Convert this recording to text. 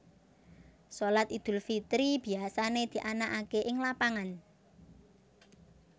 Shalat Idul Fitri biasané dianakaké ing lapangan